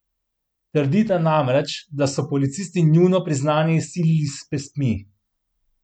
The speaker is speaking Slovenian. Trdita namreč, da so policisti njuno priznanje izsilili s pestmi.